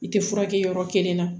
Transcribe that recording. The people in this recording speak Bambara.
I tɛ furakɛ yɔrɔ kelen na